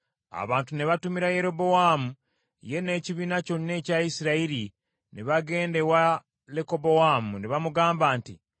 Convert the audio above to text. Abantu ne batumira Yerobowaamu, ye n’ekibiina kyonna ekya Isirayiri ne bagenda ewa Lekobowaamu, ne bamugamba nti,